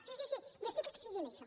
sí sí sí li estic exigint això